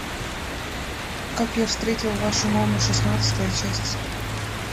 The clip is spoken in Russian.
как я встретил вашу маму шестнадцатая часть